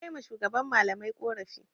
Na kai ma shugaban malamai ƙorafi.